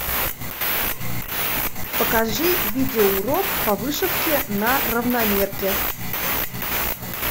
покажи видео урок по вышивке на равномерке